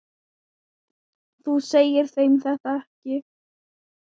Þú segir þeim þetta ekki.